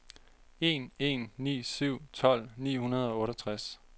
en en ni syv tolv ni hundrede og otteogtres